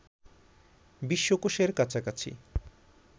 বিশ্বকোষের কাছাকাছি